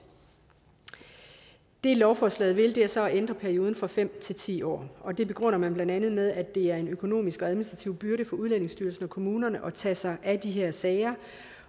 det lovforslaget vil er så at ændre perioden fra fem til ti år og det begrunder man blandt andet med at det er en økonomisk og administrativ byrde for udlændingestyrelsen og kommunerne at tage sig af de her sager